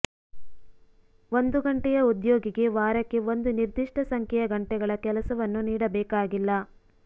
ಒಂದು ಗಂಟೆಯ ಉದ್ಯೋಗಿಗೆ ವಾರಕ್ಕೆ ಒಂದು ನಿರ್ದಿಷ್ಟ ಸಂಖ್ಯೆಯ ಗಂಟೆಗಳ ಕೆಲಸವನ್ನು ನೀಡಬೇಕಾಗಿಲ್ಲ